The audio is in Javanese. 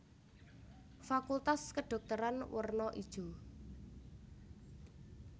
Fakultas Kedhokteran werna ijo